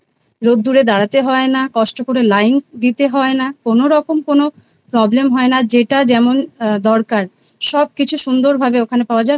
রোদ্দুরে দাড়াতে হয় না কষ্ট করে লাইন দিতে হয় না কোনও রকম কোনো problem হয় না যেটা যেমন দরকার সব কিছু সুন্দর ভাবে ওখানে পাওয়া যায়